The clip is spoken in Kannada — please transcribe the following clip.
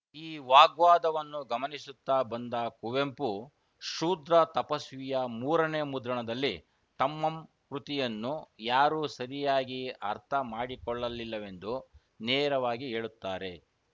ಈ ವಾಗ್ವಾದವನ್ನು ಗಮನಿಸುತ್ತ ಬಂದ ಕುವೆಂಪು ಶೂದ್ರತಪಸ್ವಿಯ ಮೂರನೇ ಮುದ್ರಣದಲ್ಲಿ ತಮಮ್ ಕೃತಿಯನ್ನು ಯಾರೂ ಸರಿಯಾಗಿ ಅರ್ಥಮಾಡಿಕೊಳ್ಳಲಿಲ್ಲವೆಂದು ನೇರವಾಗಿ ಹೇಳುತ್ತಾರೆ